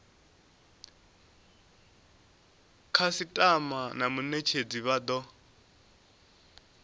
khasitama na munetshedzi vha do